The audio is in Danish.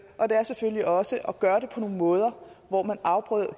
og det er selvfølgelig også at gøre det på nogle måder hvor man afprøver